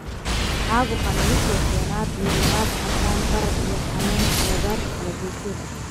Caabuqani wuxuu keenaa diirimaad, casaan, barar, iyo xanuun agagaarka kala-goysyada.